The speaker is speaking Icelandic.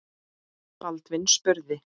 Baldvin spurði